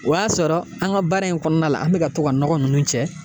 O y'a sɔrɔ an ka baara in kɔnɔna la, an bɛ ka to ka nɔgɔ nunnu cɛ.